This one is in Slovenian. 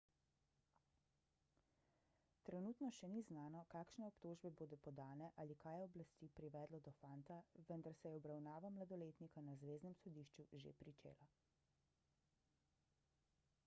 trenutno še ni znano kakšne obtožbe bodo podane ali kaj je oblasti privedlo do fanta vendar se je obravnava mladoletnika na zveznem sodišču že pričela